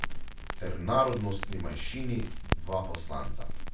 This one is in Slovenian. Ter narodnostni manjšini dva poslanca.